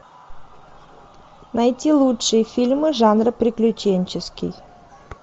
найти лучшие фильмы жанра приключенческий